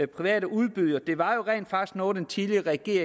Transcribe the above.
private udbydere det var jo rent faktisk noget den tidligere regering